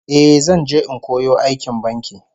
Eh, zan je in koyo aikin banki